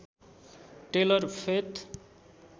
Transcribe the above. tailor faith